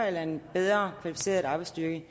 eller en bedre kvalificeret arbejdsstyrke